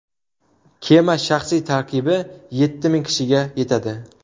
Kema shaxsiy tarkibi yetti ming kishiga yetadi.